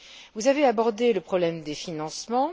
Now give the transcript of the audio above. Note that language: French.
Vous avez abordé le problème des financements.